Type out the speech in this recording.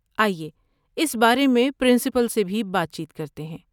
آئیے اس بارے میں پرنسپل سے بھی بات چیت کرتے ہیں۔